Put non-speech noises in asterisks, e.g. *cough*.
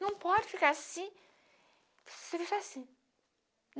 Não pode ficar assim. *unintelligible*